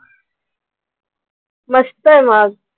मस्तंय मग.